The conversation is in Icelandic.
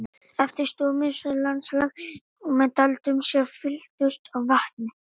Eftir stóð mishæðótt landslag með dældum sem fylltust af vatni.